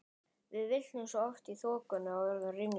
Við villtumst oft í þokunni og urðum ringluð.